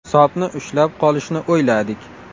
Hisobni ushlab qolishni o‘yladik.